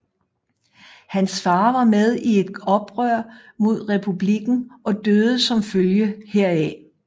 Hans far var med i et oprør mod Republikken og døde som følge heraf